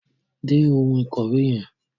Dé oun ìkòwé yen